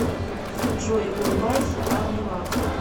джой улыбайся арнилав